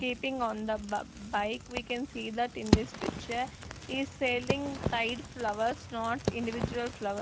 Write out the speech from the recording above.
keeping on the bike we can see that in this picture is selling tide flowers not individual flowe--